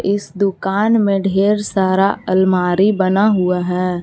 इस दुकान में ढेर सारा अलमारी बना हुआ है।